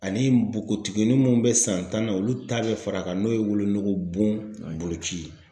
Ani nbogotiginin minnu bɛ san tan na olu ta bɛ fara a kan n'o ye wolonugu bon ye.